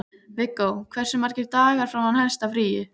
Viggó, hversu margir dagar fram að næsta fríi?